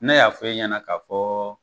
Ne y'a fɔ e ɲɛna ka fɔ.